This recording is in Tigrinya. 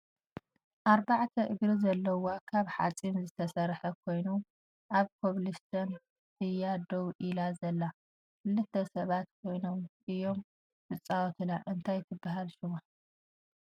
ኣርባዕተ እግሪ ዘለዎ ካብ ሓፂን ዝተሰረሐ ኮይኑ ኣብ ኮብልስቶን እያ ደው ኢላ ዘላ ክለተ ሰባት ኮይኑም እዮም ዝፃወቱላ እንታይ ትብሃል ሽማ ?